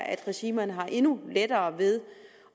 regimerne har endnu lettere ved